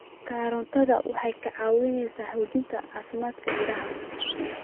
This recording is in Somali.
Karootiga waxay caawisaa xoojinta caafimaadka indhaha.